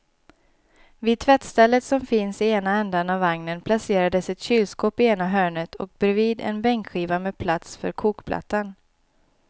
Vid tvättstället som finns i ena ändan av vagnen placerades ett kylskåp i ena hörnet och bredvid en bänkskiva med plats för kokplattan.